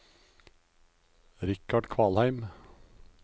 Richard Kvalheim